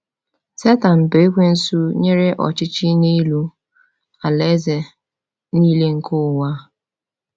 Setan bu Ekwensu nyere ya ọchịchị n’elu “alaeze niile nke ụwa.”